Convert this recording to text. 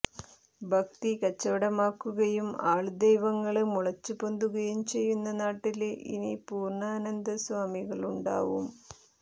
ഭക്തി കച്ചവടമാക്കുകയും ആള്ദൈവങ്ങള് മുളച്ചുപൊന്തുകയും ചെയ്യുന്ന നാട്ടില് ഇനി പൂര്ണ്ണാനന്ദ സ്വാമികളുമുണ്ടാവും